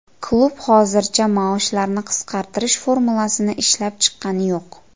Klub hozircha maoshlarni qisqartirish formulasini ishlab chiqqani yo‘q.